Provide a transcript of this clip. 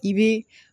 I bɛ